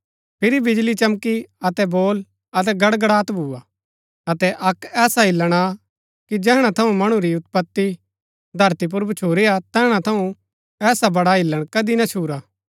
फिरी बिजळी चमकी अतै बोल अतै गड़गड़ात भूआ अतै अक्क ऐसा हिल्‍लण आ कि जेहणा थऊँ मणु री उत्पति धरती पुर भच्छुरी हा तैहणा थऊँ ऐसा बड़ा हिल्‍लण कदी ना छूरा